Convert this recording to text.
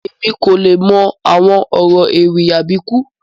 Emi ko le mọ awọn ọrọ ewì Àbíkú